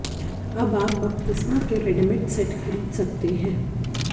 अब आप बपतिस्मा के रेडीमेड सेट खरीद सकते हैं